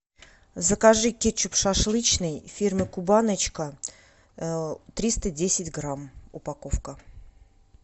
закажи кетчуп шашлычный фирмы кубаночка триста десять грамм упаковка